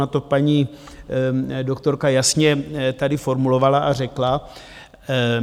Ona to paní doktorka jasně tady formulovala a řekla.